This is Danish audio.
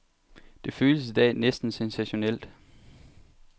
Det føles i dag næsten sensationelt.